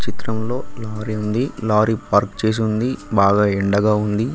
ఈ చిత్రంలో lorry park చేసి ఉంది బాగా ఎండగా ఉంది.